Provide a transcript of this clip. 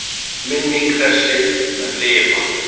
Minning þessi mun lifa.